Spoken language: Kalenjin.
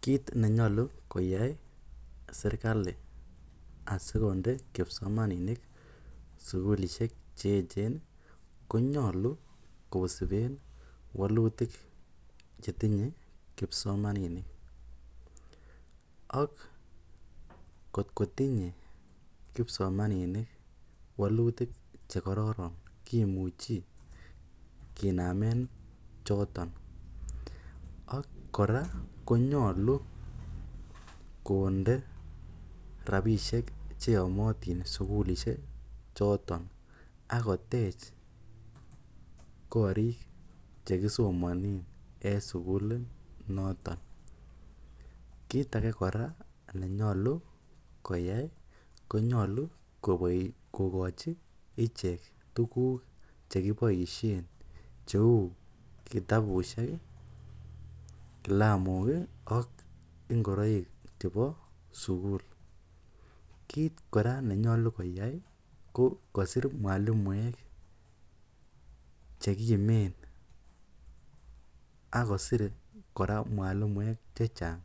Kiit nenyolu koyai serikali asikonde kipsomaninik sukulishek che echen konyolu kosiben wlutik chetinye kipsomaninik, ak kot kotinye kipsomaninik wolutik chekororn kimuchi kinamen choton ak kora konyolu konde rabishek cheyomotin sukulishe choton ak kotech korik chekisomonen en sukulit noton, kiit akee nenyolu konyolu koyai konyolu kokochi ichek tukuk chekiboishen cheuu kitabushek, kilamok ak ingoroik chebo sukul, kiit kora nenyolu koyai kokosir mwalimuek chekimen ak kosir kora mwalimuek chechang